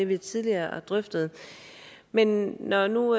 vi tidligere har drøftet men når nu